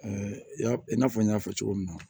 ya i n'a fɔ n y'a fɔ cogo min na